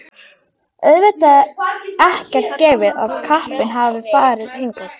Auðvitað ekkert gefið að kappinn hafi farið hingað.